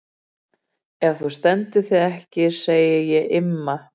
Ef þú stendur þig ekki segi ég Imma.